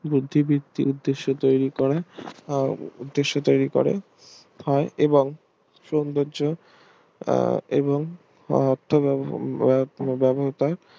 বুদ্ধিবৃত্তি উদ্দশ্যে তৈরী করা আহ উদ্দশ্যে তৈরী করা হয় এবং সৌন্দর্য এবং